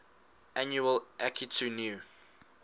annual akitu new